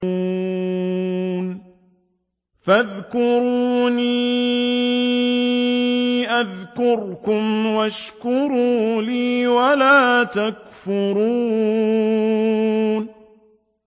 فَاذْكُرُونِي أَذْكُرْكُمْ وَاشْكُرُوا لِي وَلَا تَكْفُرُونِ